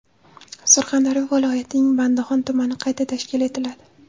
Surxondaryo viloyatining Bandixon tumani qayta tashkil etiladi.